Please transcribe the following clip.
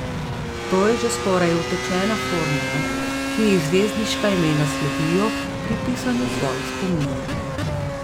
To je že skoraj utečena formula, ki ji zvezdniška imena sledijo pri pisanju svojih spominov.